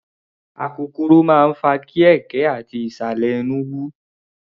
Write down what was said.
Akokoro máa ń fa kí ẹ̀ẹ̀kẹ́ ati ìsàlẹ̀ ẹnú wú.